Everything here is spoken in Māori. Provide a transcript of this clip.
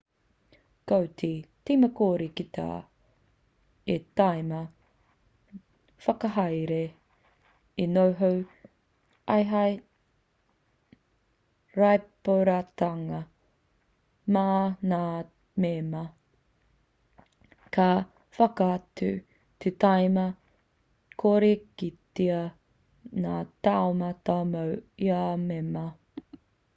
ko te tīma kore kitea te tīma whakahaere e noho ai hei rīpoatatanga mā ngā mema ka whakatū te tīma kore kitea ngā taumata mō ia mema